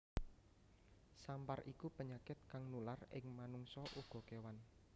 Sampar iku penyakit kang nular ing manungsa uga kewan